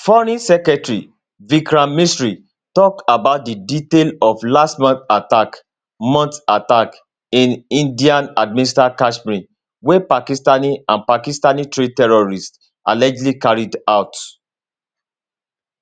foreign secretary vikram misri tok about di detail of last month attack month attack in indianadministered kashmir wey pakistani and pakistantrained terrorists allegedly carry out